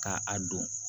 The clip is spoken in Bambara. Ka a don